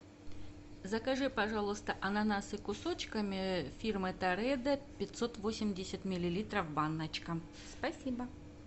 закажи пожалуйста ананасы кусочками фирмы торедо пятьсот восемьдесят миллилитров баночка спасибо